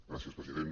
gràcies president